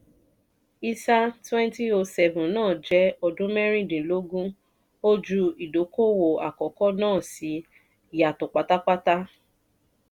isa twenty oh seven na jẹ́ ọdún mẹ́rìndínlógún ojú ìdókòwò àkókò náà sì yàtọ̀ pátápátá.